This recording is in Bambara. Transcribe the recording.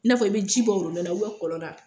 I n'a fɔ i bɛ ji bɔ na kɔlɔn na